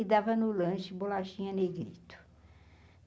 e dava no lanche bolachinha negrito.